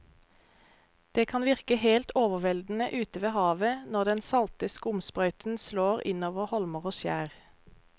Det kan virke helt overveldende ute ved havet når den salte skumsprøyten slår innover holmer og skjær.